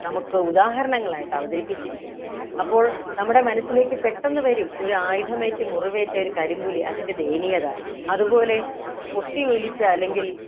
നമുക്ക് ഉദാഹരണങ്ങളായിട്ട് അവതരിപ്പിച്ചിരിക്കുന്നത് അപ്പോൾ നമ്മുടെ മനസ്സിലേക്ക് പെട്ടെന്ന് വരും ഒരു ആയുധം ഏറ്റു മുറിവേറ്റ ഒരു കരിമ്പുലി അതിൻ്റെ ദയനീയത അതുപോലെ ഏർ പൊട്ടിയൊലിച്ച അല്ലെങ്കിൽ